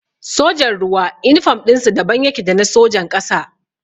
Sojan ruwa inifam ɗinsu daban yake da na sojan ƙasa